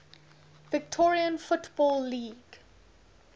victorian football league